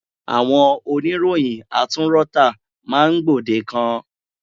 Àwọn oníròyìn atúnrọ́tà máa gbòdekan.